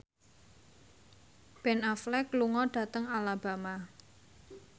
Ben Affleck lunga dhateng Alabama